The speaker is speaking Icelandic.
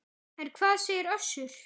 En hvað segir Össur?